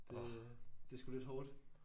Det er det er sgu lidt hårdt